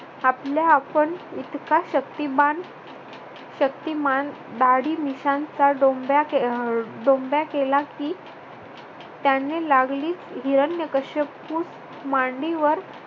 आपल्या आपण इतका शक्तिमान शक्तिमान दाढी मिश्यांचा डोंब्या अह डोंब्या केला की त्याने लागलीच हिरण्याकष्यपूस मांडीवर